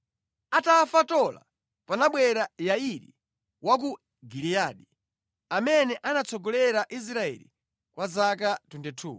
Atafa Tola panabwera Yairi wa ku Giliyadi, amene anatsogolera Israeli kwa zaka 22.